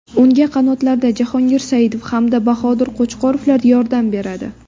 Unga qanotlarda Jahongir Saidov hamda Bahodir Qo‘chqorovlar yordam beradi.